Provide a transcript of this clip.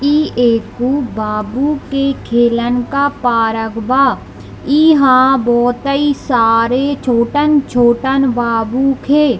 यहां एकु बाबू के खेलन का पार्क बा इहा बहोतइ सारे छोटन-छोटन बाबू खे।